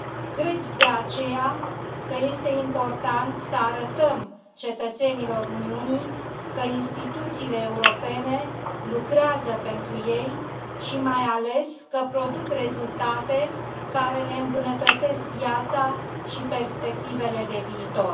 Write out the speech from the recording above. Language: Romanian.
Cred, de aceea, că este important să arătăm cetățenilor Uniunii că instituțiile europene lucrează pentru ei și, mai ales, că produc rezultate care le îmbunătățesc viața și perspectivele de viitor.